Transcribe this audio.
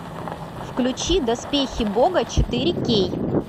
включи доспехи бога четыре кей